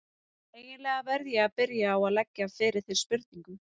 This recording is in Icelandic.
Eiginlega verð ég að byrja á að leggja fyrir þig spurningu.